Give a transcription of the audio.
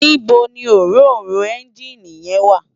Nibó ni óróró ènjiní yèn wá?